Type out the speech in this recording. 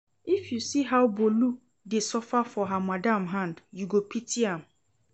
If you see how Bolu dey suffer for her madam hand, you go pity am